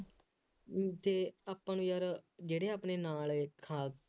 ਬਈ ਜੇ ਆਪਣੇ ਯਾਰ ਜਿਹੜੇ ਆਪਣੇ ਨਾਲ ਦੇ ਖਾਸ